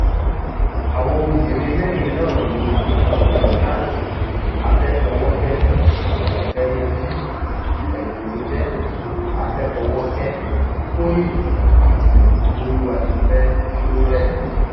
àwọn obìnrin mẹrin náà ni dorcas afẹfọwọkẹ òtéyànji èbùnújẹ àfẹfọwọkẹ tóyin àti bólúwátìfẹ sọrẹmì